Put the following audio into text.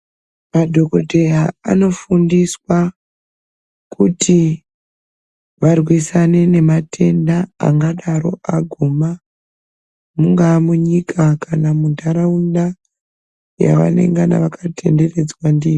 Madhokoteya anofundiswa kuti varwisane nematenda angadaro aguma, mungaa munyika kana muntaraunda yavanengana vakatenderedzwa ndiyo.